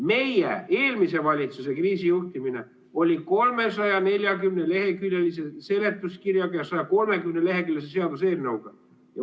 Meie, eelmise valitsuse kriisijuhtimine oli 340‑leheküljelise seletuskirjaga ja 130-leheküljelise seaduseelnõuga.